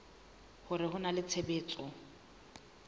hore ho na le tshebetso